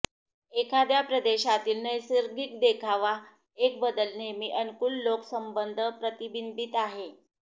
एखाद्या प्रदेशातील नैसर्गिक देखावा एक बदल नेहमी अनुकूल लोक संबंध प्रतिबिंबित आहे